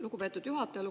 Lugupeetud juhataja!